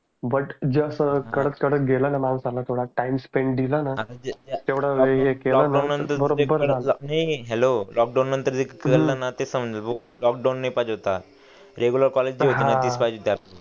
but जस कडक कडक गेल माणसाला थोडा टाइम स्पेंड दिल न तेवड वेळ हे केल न बरोबर हे हे हॅलो नंतर लॉकडाउन रेग्युलर कॉलेज पाहिजे होत हा